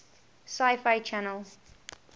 sci fi channel